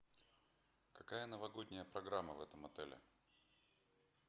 какая новогодняя программа в этом отеле